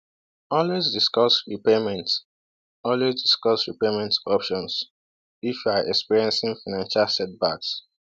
Always discuss repayment Always discuss repayment options if you're experiencing financial setbacks.